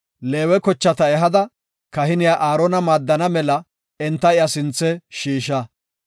“Leewe kochata ehada kahiniya Aarona maaddana mela enta iya sinthe shiisha.